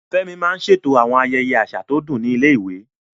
Fẹ́mi máa ń ṣètò àwọn ayẹyẹ àṣà tó dùn ní ilé-ìwé.